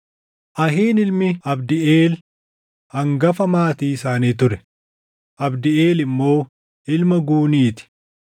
Ahiin ilmi Abdiʼeel, hangafa maatii isaanii ture; Abdiʼeel immoo ilma Guunii ti.